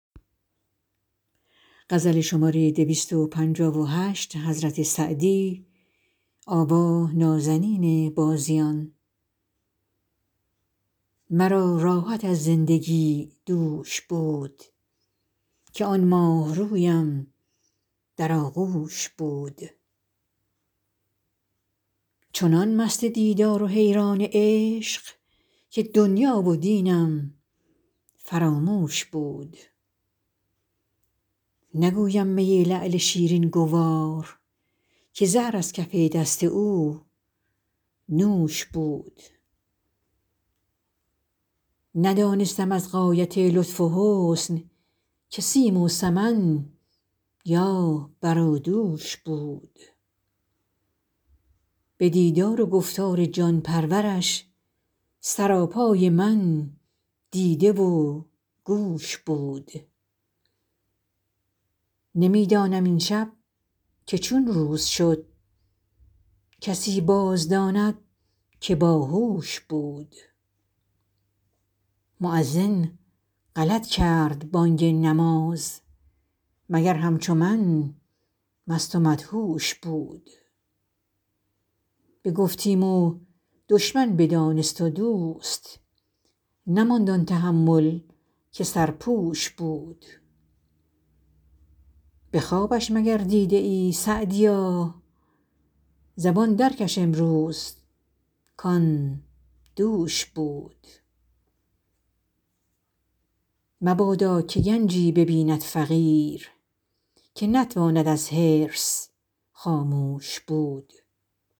مرا راحت از زندگی دوش بود که آن ماهرویم در آغوش بود چنان مست دیدار و حیران عشق که دنیا و دینم فراموش بود نگویم می لعل شیرین گوار که زهر از کف دست او نوش بود ندانستم از غایت لطف و حسن که سیم و سمن یا بر و دوش بود به دیدار و گفتار جان پرورش سراپای من دیده و گوش بود نمی دانم این شب که چون روز شد کسی باز داند که با هوش بود مؤذن غلط کرد بانگ نماز مگر همچو من مست و مدهوش بود بگفتیم و دشمن بدانست و دوست نماند آن تحمل که سرپوش بود به خوابش مگر دیده ای سعدیا زبان در کش امروز کآن دوش بود مبادا که گنجی ببیند فقیر که نتواند از حرص خاموش بود